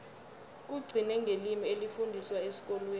kugcine ngelimi elifundiswa esikolweni